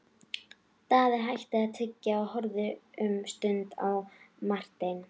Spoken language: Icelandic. Daði hætti að tyggja og horfði um stund á Martein.